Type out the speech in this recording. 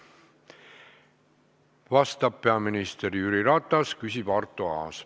Vastab peaminister Jüri Ratas, küsib Arto Aas.